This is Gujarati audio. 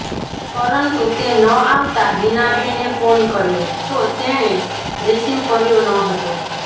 પરંતુ તે ન આવતા હીનાબેને ફોન કર્યો તો તેણે રિસીવ કર્યો ન હતો